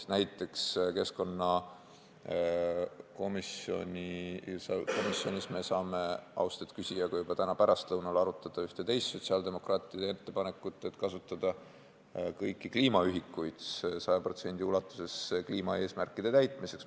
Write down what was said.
Näiteks, keskkonnakomisjonis me saame, austatud küsija, juba täna pärastlõunal arutada ühte teist sotsiaaldemokraatide ettepanekut, mis näeb ette kasutada kõiki kliimaühikuid saja protsendi ulatuses kliimaeesmärkide täitmiseks.